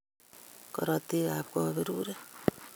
Korotikab kaberuret